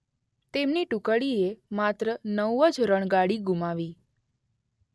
તેમની ટુકડીએ માત્ર નવ જ રણગાડી ગુમાવી.